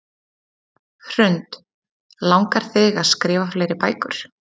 Hrund: Langar þig að skrifa fleiri bækur?